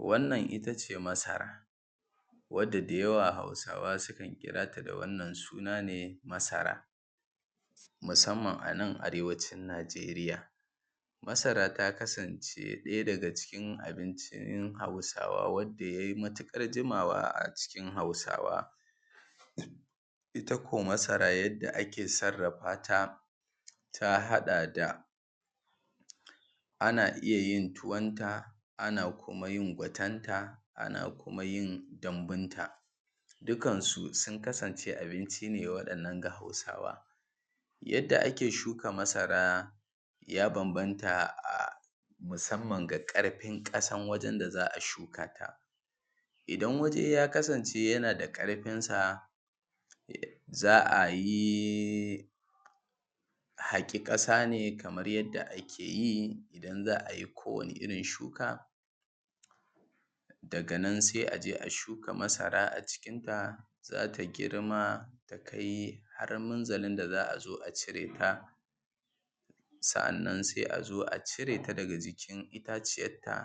Wannan itace masara, Wanda da yawa Hausawa sukan kira ta da wannan sunan, suna ne masara musamman a nan arewacin Najeriya. Masara ta kasance ɗaya daga cikin abincin Hausawa wanda ya yi matuƙar komawa a cikin Hausawa. Ita ko masara yadda ake sarrafa ta ta haɗa da: Ana yin tuwonta, ana iya kuma yin fatenta, ana kuma yin dambunta. Duka su sun kasance abinci ne waɗannan ga Hausawa. Yadda ake shuka masara ya bambanta musamman da ƙarfin ƙasan da za a shuka ta. Idan waje ya kasance yana da ƙarfinsa za a yi a haƙa ƙasa ne kamar yadda ake yi in za a yi kowane irin shuka. Daga nan sai a je a shuka masara a cikinta. Za ta girma ta kai har minzalin da za a zo a cire ta, sa'annan sai a zo a cire ta daga jikin itaciyarta.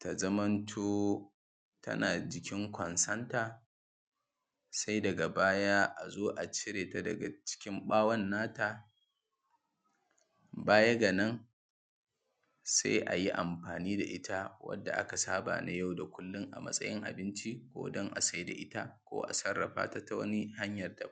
Ta zamanto tana jikin ƙonsonta. Sai daga baya a zo a cire ta daga jikin ɓawon nata. Baya ga nan sai a yi amfani da ita yadda aka saba na yau da kullum, a matsayin abinci ko don a siyar da ita ko a sarrafa ta ta wani.